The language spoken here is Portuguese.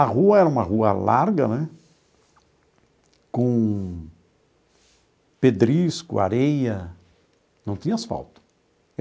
A rua era uma rua larga né, com pedrisco, areia, não tinha asfalto.